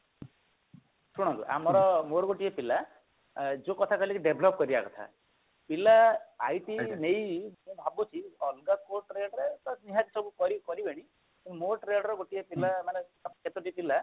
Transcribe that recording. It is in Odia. ଶୁଣନ୍ତୁ ଆମର ମୋର ଗୋଟିଏ ପିଲା ଯୋଉ କଥା କହିଲେ କି develop କରିବା କଥା ପିଲା IT ନେଇ ମୁଁ ଭାବୁଛି ଅଲଗା କୋଉ trade ରେ ନିହାତି ସବୁ କରିବେନି କିନ୍ତୁ ମୋ trade ର ଗୋଟିଏ ପିଲା ମାନେ କେତୋଟି ପିଲା